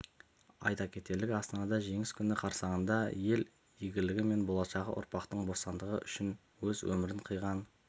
айта кетерлігі астанада жеңіс күні қарсаңында ел игілігі мен болашақ ұрпақтың бостандығы үшін өз өмірін қиған